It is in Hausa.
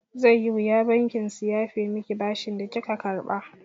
Zai yi wuya bankin su yafe miki bashin da kika karɓa.